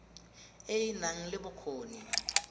e e nang le bokgoni